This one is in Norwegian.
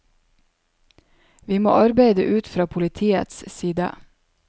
Vi må arbeide ut fra politiets side.